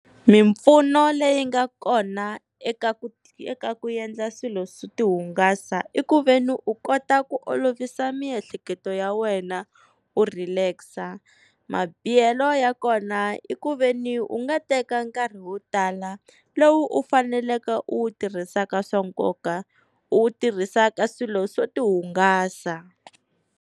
Mimpfuno leyi nga kona eka ku eka ku endla swilo swo ti hungasa, i ku veni u kota ku olovisa miehleketo ya wena u relax. Mabihelo ya kona i ku veni u nga teka nkarhi wo tala lowu u faneleke u wu tirhisaka swa nkoka, u wu tirhisa ka swilo swo ti hungasa.